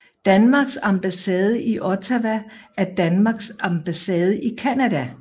Danmarks ambassade i Ottawa er Danmarks ambassade i Canada